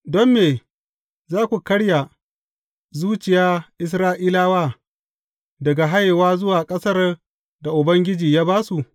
Don me za ku karya zuciya Isra’ilawa daga hayewa zuwa ƙasar da Ubangiji ya ba su?